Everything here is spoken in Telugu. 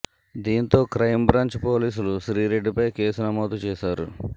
దీంతో క్రైమ్బ్రాంచ్ పోలీసులు శ్రీరెడ్డిపై కేసు నమోదు చేశారు